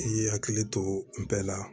I y'i hakili to bɛɛ la